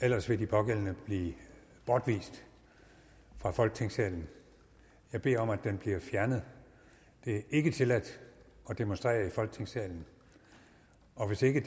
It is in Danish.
ellers vil de pågældende blive bortvist fra folketingssalen jeg beder om at den bliver fjernet det er ikke tilladt at demonstrere i folketingssalen og hvis ikke